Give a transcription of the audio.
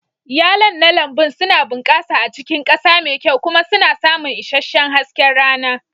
Yalon na lambun suna bunƙasa a cikin ƙasa mai kyau kuma suna samun isasshen hasken rana.